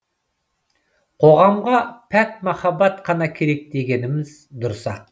қоғамға пәк махаббат қана керек дегеніміз дұрыс ақ